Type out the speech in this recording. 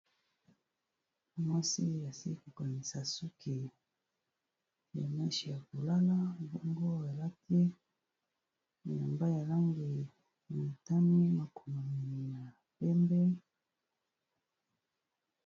Mwasi, asili ko kangisa suki ya meshe ya kolala. Bongo alati elamba ya langi ya motani. Makomi ya pembe.